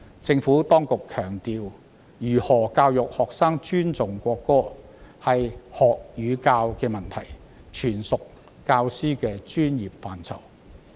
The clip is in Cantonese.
政府當局強調，如何教育學生尊重國歌是學與教的問題，全屬教師的專業範疇。